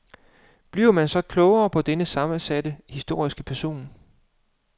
Bliver man så klogere på denne sammensatte historiske person?